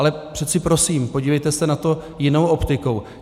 Ale přece prosím, podívejte se na to jinou optikou.